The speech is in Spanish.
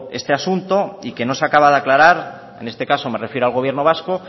este asunto y que no se acaba de aclarar en este caso me refiero al gobierno vasco